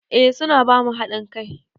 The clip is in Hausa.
Eh su na ba mu haɗin kai.